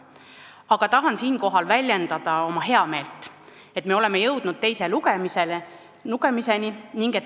Tahan aga siinkohal väljendada oma heameelt, et me oleme jõudnud teise lugemiseni.